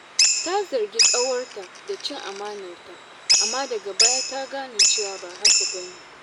Ta zargi ƙawarta da cin amanarta, amma daga baya ta gane cewa ba haka ba ne.